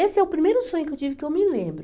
Esse é o primeiro sonho que eu tive que eu me lembro.